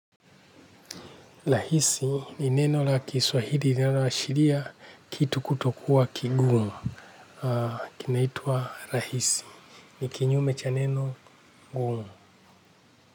Rahisi ni neno la kiswahili linaloashiria kitu kutokuwa kigumu, kinaitwa rahisi, ni kinyume cha neno ngumu.